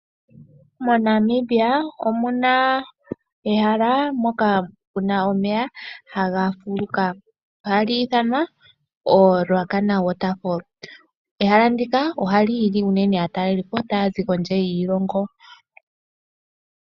MoNamibia omuna ehala moka muna omeya haga fuluka ohali ithanwa Ruacana Waterfalls. Ehala ndika ohali hili unene aatalelipo taya zi kondje yiilongo.